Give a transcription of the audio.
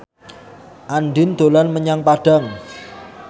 Andien dolan menyang Padang